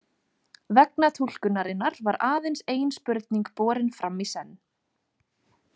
Vegna túlkunarinnar var aðeins ein spurning borin fram í senn.